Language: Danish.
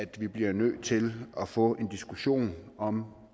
vi bliver nødt til at få en diskussion om